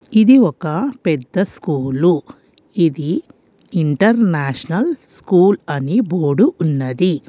ఇది ఒక పెద్ద స్కూలు ఇది ఇంటర్నేషనల్ స్కూల్ అని బోడు ఉన్నది.